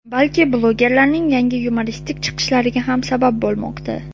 balki blogerlarning yangi yumoristik chiqishlariga ham sabab bo‘lmoqda.